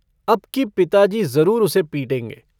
अबकी पिताजी ज़रूर उसे पीटेंगे।